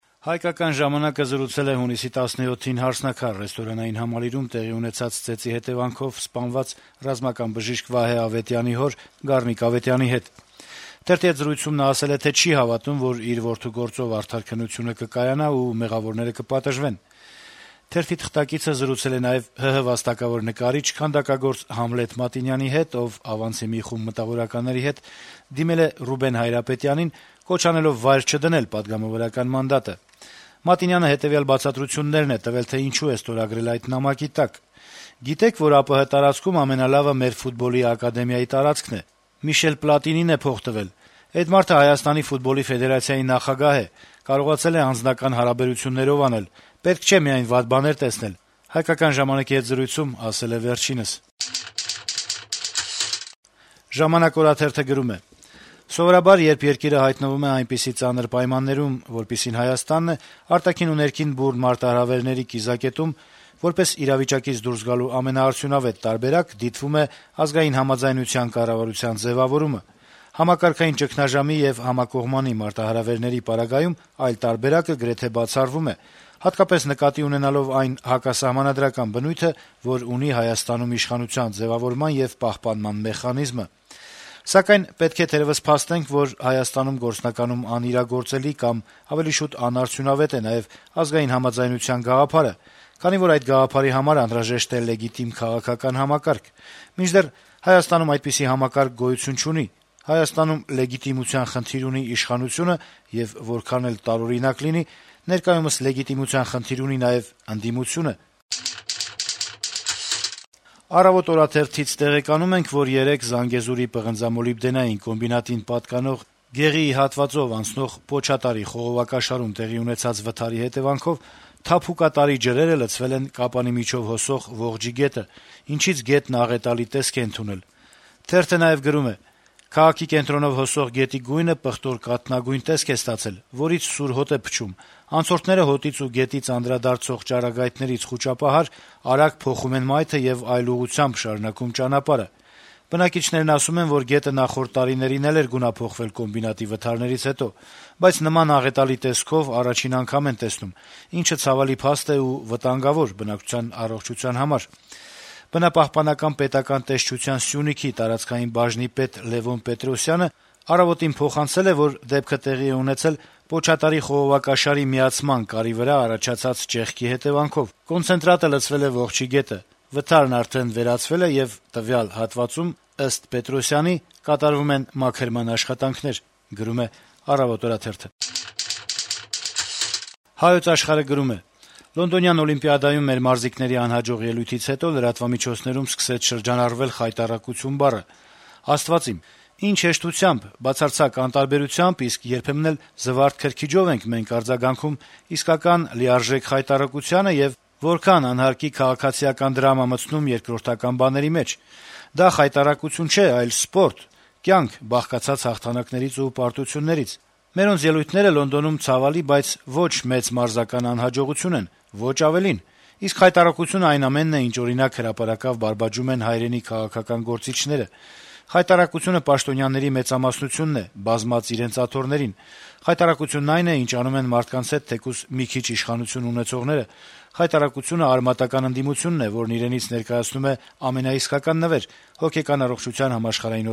«Հայկական ժամանակ»-ը զրուցել է հունիսի 17-ին «Հարսնաքար» ռեստորանային համալիրում տեղի ունեցած ծեծի հետեւանքով սպանված ռազմական բժիշկ Վահե Ավետյանի հոր` Գառնիկ Ավետյանի հետ: Թերթի հետ զրույցում նա ասել է, թե չի հավատում, որ իր որդու գործով արդար քննությունը կկայանա եւ մեղավորները կպատժվեն: Թերթի թղթակիցը զրուցել է նաեւ ՀՀ վաստակավոր նկարիչ, քանդակագործ Համլետ Մատինյանի հետ, ով ավանցի մի խումբ մտավորականների հետ դիմել է Ռուբեն Հայրապետյանին` կոչ անելով վայր չդնել պատգամավորական մանդատը: Մատինյանը հետեւյալ բացատրություններն է տվել, թե ինչու է ստորագրել նման նամակի տակ. - «Գիտե՞ք, որ ԱՊՀ տարածքում ամենալավը մեր ֆուտբոլի ակադեմիայի տարածքն է: Միշել Պլատինին է փող տվել: Էդ մարդը Հայաստանի ֆուտբոլի ֆեդերացիայի նախագահ է, կարողացել է անձնական հարաբերություններով անել: Պետք չէ միայն վատ բաներ տեսնել»: «ժամանակ» օրաթերթը գրում է. - «Սովորաբար երբ երկիրը հայտնվում է այնպիսի ծանր պայմաններում, որպիսին Հայաստանն է՝ արտաքին ու ներքին բուռն մարտահրավերների կիզակետում, որպես իրավիճակից դուրս գալու ամենաարդյունավետ տարբերակ դիտվում է ազգային համաձայնության կառավարության ձեւավորումը: Համակարգային ճգնաժամի եւ համակողմանի մարտահրավերների պարագայում այլ տարբերակը գրեթե բացառվում է, հատկապես նկատի ունենալով այն հակասահմանադրական բնույթը, որ ունի Հայաստանում իշխանության ձեւավորման եւ պահպանման մեխանիզմը: Սակայն, պետք է թերեւս փաստենք, որ Հայաստանում գործնականում անիրագործելի, կամ ավելի շուտ անարդյունավետ է նաեւ ազգային համաձայնության գաղափարը, քանի որ այդ գաղափարի համար անհրաժեշտ է լեգիտիմ քաղաքական համակարգ: Մինդեռ Հայաստանում այդպիսի համակարգ գոյություն չունի՝ Հայաստանում լեգիտիմության խնդիր ունի իշխանությունը, եւ որքան էլ տարօրինակ լինի՝ ներկայումս լեգիտիմության խնդիր ունի նաեւ ընդդիմությունը»: «Առավոտ» օրաթերթից տեղեկանում ենք, որ երեկ Զանգեզուրի պղնձամոլիբդենային կոմբինատին պատկանող Գեղիի հատվածով անցնող պոչատարի խողովակաշարում տեղի ունեցած վթարի հետեւանքով թափուկատարի ջրերը լցվել են Կապանի միջով հոսող Ողջի գետը, ինչից գետն աղետալի տեսք է ընդունել: Թերթը նաեւ գրում է. - «Քաղաքի կենտրոնով հոսող գետի գույնը պղտոր կաթնագույն տեսք է ստացել, որից սուր հոտ է փչում: Անցորդները հոտից ու գետից անդրադարձող ճառագայթներից խուճապահար` արագ փոխում են մայթը եւ այլ ուղղությամբ շարունակում ճանապարհը: Բնակիչներն ասում են, որ գետը նախորդ տարիներին էլ էր գունափոխվել կոմբինատի վթարներից հետո, բայց նման աղետալի տեսքով առաջին անգամ են տեսնում, ինչը ցավալի փաստ է ու վտանգավոր բնակչության առողջության համար»: Բնապահպանական պետական տեսչության Սյունիքի տարածքային բաժնի պետ Լեւոն Պետրոսյանը «Առավոտ»-ին փոխանցել է, որ դեպքը տեղի է ունեցել պոչատարի խողովակաշարի միացման կարի վրա առաջացած ճեղքի հետեւանքով: Կոնցենտրատը լցվել է Ողջի գետը: Վթարն արդեն վերացվել է, եւ տվյալ հատվածում, ըստ Պետրոսյանի, կատարվում են մաքրման աշխատանքներ: «Հայոց աշխարհ»-ը գրում է. - «Լոնդոնյան օլիմպիադայում մեր մարզիկների անհաջող ելույթից հետո լրատվամիջոցներում սկսեց շրջանառվել «խայտառակություն» բառը։ Աստվա՛ծ իմ։ Ի՜նչ հեշտությամբ, բացարձակ անտարբերությամբ, իսկ երբեմն էլ զվարթ քրքիջով ենք մենք արձագանքում իսկական, լիարժեք խայտառակությանը, եւ որքա՜ն անհարկի քաղաքացիական դրամա մտցնում երկրորդական բաների մեջ։ Դա խայտառակություն չէ, այլ սպորտ։ Կյանք՝ բաղկացած հաղթանակներից ու պարտություններից։ Մերոնց ելույթները Լոնդոնում ցավալի, բայց ոչ մեծ մարզական անհաջողություն են, ոչ ավելին։ Իսկ խայտառակությունը այն ամենն է, ինչ, օրինակ, հրապարակավ բարբաջում են հայրենի քաղաքական գործիչները։ Խայտառակությունը պաշտոնյաների մեծամասնությունն է՝ բազմած իրենց աթոռներին։ Խայտառակությունն այն է, ինչ անում են մարդկանց հետ թեկուզ մի քիչ իշխանություն ունեցողները։ Խայտառակությունը արմատական ընդդիմությունն է, որն իրենից ներկայացնում է ամենաիսկական նվեր՝ Հոգեկան առողջության համաշխարհային